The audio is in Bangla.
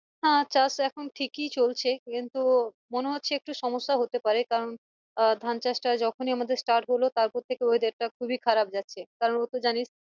হ্যাঁ চাষ এখন ঠিকই চলছে কিন্তু মনে হচ্চে একটু সমস্যা হতে পারে কারণ আহ ধান চাষ টা যখনই আমাদের start হলো তারপর থেকে weather টা খুবিই খারাপ যাচ্ছে কারন ও তো জানিস